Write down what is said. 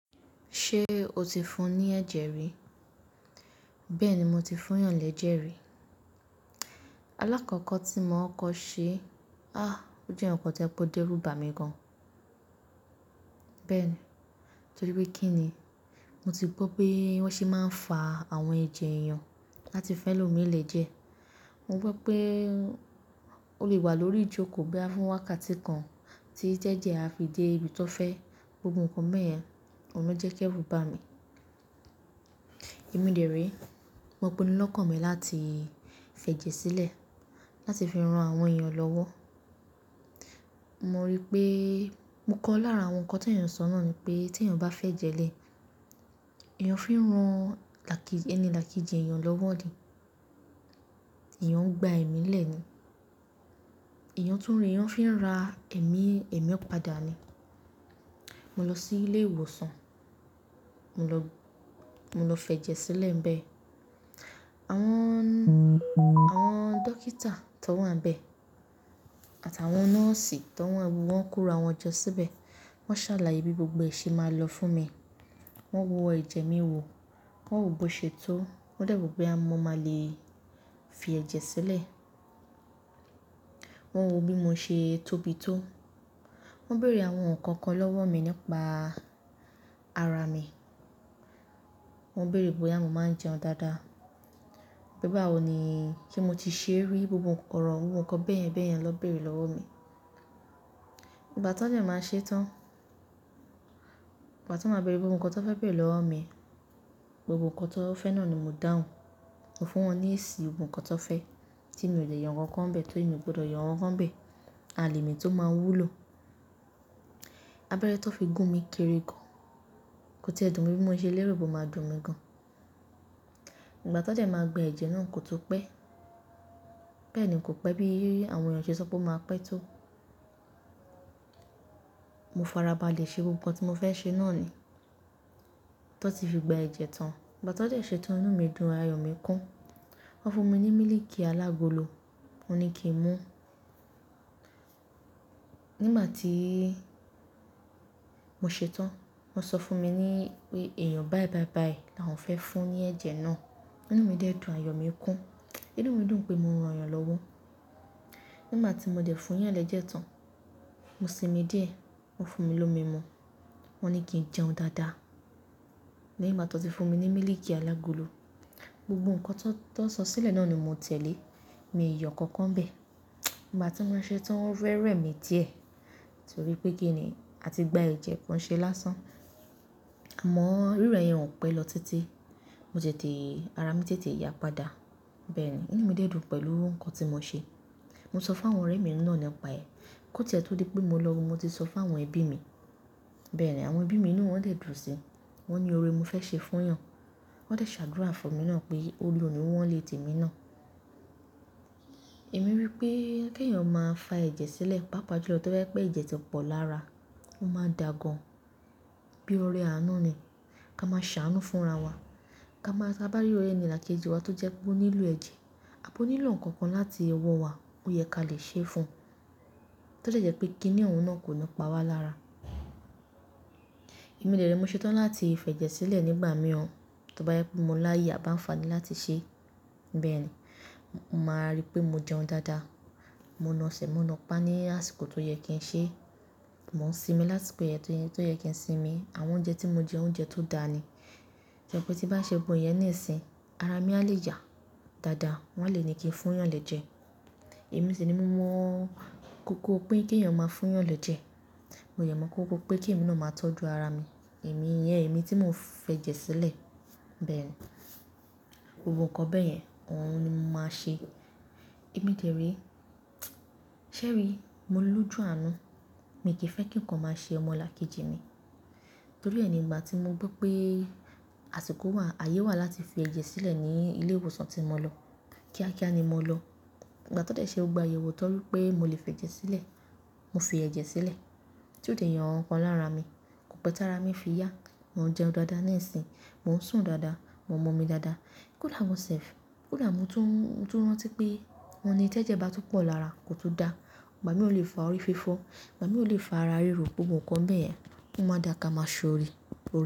Ṣé o ti fún ní ẹ̀jẹ̀ rí? Bẹ́ẹ̀ni mo ti fún yàn lẹ́jẹ̀ rí. Alákọ̀kọ̀ tí mo kọ ṣe, a! Ó jẹ́ nǹkan tó je pé òde rú bà mí gan. Bẹ́ẹ̀ni, torí pé kí ni, mo ti gbọ́ pé wọ́n sì máa ń fa àwọn ẹ̀jẹ̀ èèyàn láti fẹ́ lò mí lè jẹ. Mo gbọ́ pé ó lè wà lórí ìjókòó bá fún wákàtí kan tí jẹ́jẹ a fi dé ibi tó fẹ́. Gbogbo nǹkan báyen oun lọ jẹ́ kí èrù bà mí. Ẹ̀mí dè ré, mo pinu lọ́kàn mi láti fẹ jẹ sílẹ̀, láti fi ran àwọn èèyàn lọ́wọ́. Mo rí pé mo kọ lára àwọn nǹkan tí èèyàn sọ́nà ni pé tí èèyàn bá fẹ́ jẹ lé, èèyàn fín ran ẹni làkejì èèyàn lọ́wọ́ ni, èèyàn ń gba ẹ̀mí lẹ́ ni, èèyàn tún ri èèyàn fín ra ẹ̀mí, ẹ̀mí ọ̀padà ni. Mo lọ sí ilé ìwòsàn, mo lọ, mo lọ fẹ jẹ sílẹ̀ ńbẹ. Àwọn, àwọn dókítà tó wà ńbẹ àtàwọn nọ́ọ̀sì tó wà ńbẹ wọ́n kóra àwọn jọ síbẹ̀, wọ́n sàlàyé bí gbogbo ẹ́ ṣe máa lọ fún mi. Wọ́n wo ẹ̀jẹ̀ mi wò, wọ́n wò bó ṣe tó, wọ́n dẹ̀ wò bóyá mo máa le è fi ẹ̀jẹ̀ sílẹ̀. Wọ́n wò bí mo ṣe tóbi tó, wọ́n béèrè àwọn nǹkan kan lọ́wọ́ mi nípa ara mi. Wọ́n béèrè bóyá mo máa ń jẹun dáadáa, pe bá wò ni ṣe mo ti ṣe rí gbogbo orọ̀, gbogbo nǹkan bẹ́ẹ̀yẹn bẹ́ẹ̀yẹn ló béèrè lọ́wọ́ mi. Ìgbà tí wọ́n de máa ṣe tán, ìgbà tí wọ́n máa béèrè gbogbo nǹkan tó fẹ́ béèrè lọ́wọ́ mi, gbogbo nǹkan tó wọn fẹ náà ni mo dáhùn. Mo fún wọn ní èsì ohun kan tó fẹ́ tí mí ò lè yan nǹkan kan bẹ́ẹ̀ tó èmi gbọ́dọ̀ yàn nǹkan kan bẹ́ẹ̀, àlè mọ̀ èyí tó máa wú lo. Abẹ́rẹ́ tó fi gún mi kéré gan. Kó tí ẹ dùn mí bí mo ṣe lérò bó máa dùn mi gan. Ìgbà tí wọ́n dẹ máa gba ẹ̀jẹ̀ náà kò tó pẹ́. Bẹ́ẹ̀ ni kò pẹ́ bí àwọn èèyàn ṣe sọ pé ó máa pẹ́ tó. Mo farabalẹ̀ ṣe gbogbo nǹkan tí mo fẹ́ ṣe náà ni. Tó ti fi gba ẹ̀jẹ̀ tán, ìgbà tí wọ́n dẹ́ ṣetán inú mi dùn, ayọ̀ mi kún. Wọ́n fún mi ní mílìkì alágolo, wọ́n ní kí n mú. Nígbà tí mo ṣetán, wọ́n sọ fún mi ní pé èèyàn báí báí báí làwọn fẹ́ fún ní ẹ̀jẹ̀ náà. Inú mi dẹ dùn, ayọ̀ mi kún. Inú mi dùn pé mo ran èèyàn lọ́wọ́. Nígbà tí mo dẹ̀ fún yàn lẹ́jẹ̀ tán, mo sinmi díẹ̀, wọ́n fún mi lómi mu. Wọ́n ní kí n jẹun dáadáa. Lẹ́yìn ìgbà tó ti fún mi ní mílìkì alágolo. Gbogbo nǹkan tó, tó sọ sílẹ̀ náà ni mo tẹ̀lé. Mi ò yọ nǹkan kan bẹ́ẹ̀. Nígbà tí mò ṣetán o fẹ́ rẹ̀ mi díẹ̀ torí pé kí ni a ti gba ẹ̀jẹ̀ kan ṣe lásán. Amọ rírẹ yen kò pẹ́ lọ títé. Mo ṣètè ara mi tètè yà padà. Bẹ́ẹ̀ ni inú mi dẹ dùn pẹ̀lú nǹkan tí mo ṣe. Mo sọ fún àwọn ọ̀rẹ́ mi náà nípa ẹ̀. Kó tí ẹ tó dé pé mo lọ, mo ti sọ fún àwọn ẹbí mi. Bẹ́ẹ̀ ni àwọn ẹbí mi inú wọ́n dẹ dùn síi. Wọ́n ni ọrẹ ni mo fẹ́ ṣe fún yàn. Wọ́n dẹ̀ ṣàdúrà fún mi náà pé ọ̀rẹ́ òní wọn nlè tẹ̀ mí náà. Èmi rí pé kí èèyàn máa fá ẹ̀jẹ̀ sílẹ̀, pàápàá jù lọ tó bá yẹ pé ẹ̀jẹ̀ tí pọ̀ lára, ó mán dà gan bíi ọ̀rẹ́ àánú ni. Ká máa ṣàánú fún ara wa. Ka máa, ka bá rí orí ẹni làkejì wa tó jẹ́ pé ó nílò ẹ̀jẹ̀, a bó nílò nǹkan kan láti yẹ wọ̀ wá ó yẹ kí a lè ṣe é fún. Tó jẹ́ pé kí ni òun náà kò ní pa wá lára. Ẹ̀mí dè rẹ mo ṣetán láti fẹ jẹ sílẹ̀ nígbà mí ọ tó bá yẹ pé mo láyè bá ń faní láti ṣẹ́. Bẹ́ẹ̀ ni, mo máa rí pé mo jẹun dáadáa. Mo na sẹ̀, mo na pá ní àsìkò tó yẹ kí n ṣẹ́. Mo ń sinmi lásìkò yẹn tó yẹ kí n sinmi. Àwọn oúnjẹ tí mo jẹ oúnjẹ tó dáa ni. Ìgbẹ́ tí bá ṣe gbogbo iyẹn níìsín, ara mi a lè yà dáadáa. Wọn a lè ní kí n fún yàn lẹ́jẹ̀. Èmi sì ni mo mọ̀ kókó pé kí èèyàn máa fún yàn lọ jẹ. Mo yàn mọ́ kúkú pé kí ìmí náà máa tọ́jú ara mi. Ẹ̀mí ìyẹn, ẹ̀mí tí mo fẹ́ jẹ sílẹ̀. Bẹ́ẹ̀ ni gbogbo nǹkan bẹ́ẹ̀ yẹn n òun ni mo máa ṣe. Ẹ̀mí dè rẹ, ṣé rí mo lójú àánú. Èmi kì í fẹ́ kí nǹkan máa ṣe ọmọ làkejì ni. Torí ẹ ni ìgbà tí mo gbọ́ pé àsìkò wà, ayé wà láti fi ẹ̀jẹ̀ sílẹ̀ ní ilé ìwòsàn tí mo lọ. Kíákíá ni mo lọ. Ìgbà tó dé ṣe ó gba àyẹ̀wò tó rí pé mo lè fẹ jẹ sílẹ̀, mo fi ẹ̀jẹ̀ sílẹ̀. Tí ó dè yo nǹkan kan lára mi. Kò pẹ́ tá ara mi fi yà. Mo ń jẹun dáadáa níìsín, mò ń sùn dáadáa, mo mọ́ mi dáadáa. Kódà mo sẹ̀f, kódà mo tún, tún rántí pé wọ́n ní tí ẹ́jẹ́ bá tún pọ̀ lára kò tún dá. Ìgbà mì ó lè fa orí fífọ́, ìgbà mì ó lè fa ara rírò, gbogbo nǹkan bẹ́ẹ̀ yẹn ó máa dà ká máa ṣọ̀re, òre.